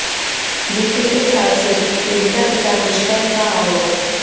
बीते एक साल से पीड़िता के साथ दुष्कर्म का आरोप